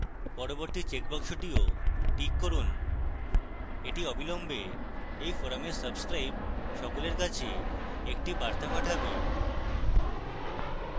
পরবর্তী চেকবাক্সটিও tick করুন